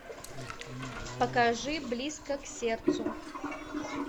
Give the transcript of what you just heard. покажи близко к сердцу